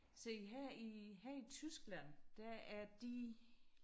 Se her i her i Tyskland der er de